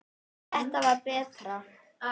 Þetta var betra.